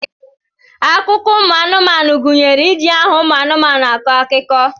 Akụkọ ụmụ anụmanu gunyere iji aha ụmụ anụmanu akọ akụkọ.